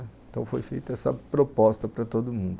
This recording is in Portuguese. Então foi feita essa proposta para todo mundo.